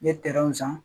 N ye san